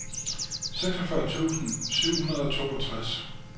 seksogfyrre tusind syv hundrede og toogtres